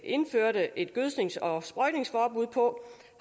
indførte et gødsknings og sprøjtningsforbud på